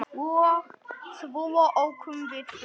Svo ókum við burt.